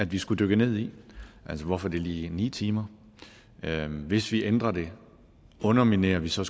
vi skulle dykke ned i altså hvorfor det lige er ni timer hvis vi ændrer det underminerer vi så